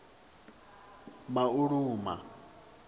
mauluma